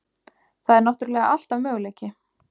Það er náttúrulega alltaf möguleiki.